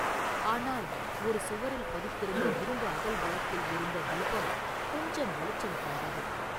ஆனால் ஒரு சுவரில் பதித்திருந்த இரும்பு அகல் விளக்கில் எரிந்த தீபம் கொஞ்சம் வெளிச்சம் தந்தது.